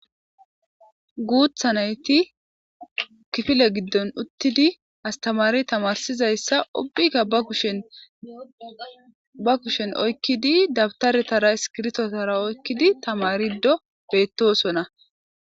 guutha nayti kifile giddon uttidi astamari tamarsizayssa obika ashenba kushen oykkidi dabtaretara iskirtotara oykkidi tamarido beettosona